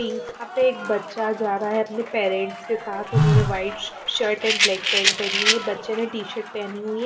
यहां पे एक बच्चा जा रहा है अपने पेरेंट्स के साथ उन्होंने white shirt and black pant पहनी हुई है बच्चे ने टी शर्ट पहनी हुई है।